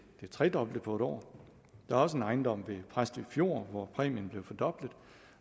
det tredoble på et år der er også en ejendom ved præstø fjord hvor præmien blev fordoblet